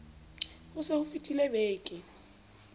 ho se ho fetile beke